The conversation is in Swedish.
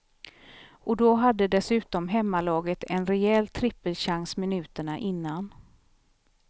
Och då hade dessutom hemmalaget en rejäl trippelchans minuterna innan.